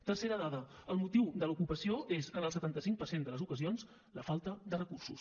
tercera dada el motiu de l’ocupació és en el setanta cinc per cent de les ocasions la falta de recursos